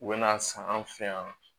U bɛ na san an fɛ yan